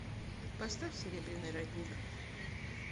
поставь серебряный родник